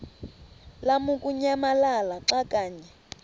lamukunyamalala xa kanye